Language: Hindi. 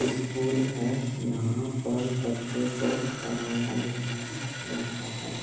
स्‍कूल है यहां पर बच्चे को पढ़ाया लिखाया जाता है।